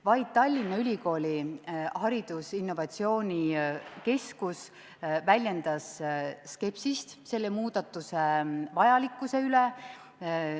Vaid Tallinna Ülikooli haridusinnovatsiooni keskus väljendas skepsist selle muudatuse vajalikkuse suhtes.